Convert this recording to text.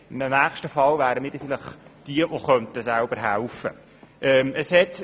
In einem nächsten Fall wären wir vielleicht diejenigen, die selber helfen könnten.